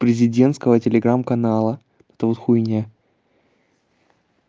президентского телеграм-канала это вот хуйня